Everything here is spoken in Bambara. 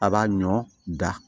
A b'a ɲɔ da